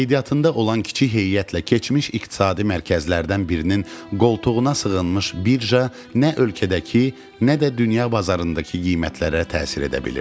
Qeydiyyatında olan kiçik heyətlə keçmiş iqtisadi mərkəzlərdən birinin qoltuğuna sığınmış birja nə ölkədəki, nə də dünya bazarındakı qiymətlərə təsir edə bilirdi.